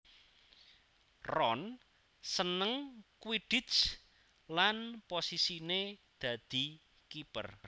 Ron seneng Quidditch lan posisiné dadi kiper